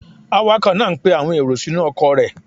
Awakọ̀ náá ń pe àwọn èrò sínú ọkọ̀ rẹ̀